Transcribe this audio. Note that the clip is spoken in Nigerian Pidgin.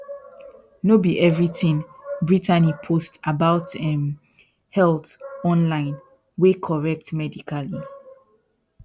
no be everything brittany post about um health online wey correct medically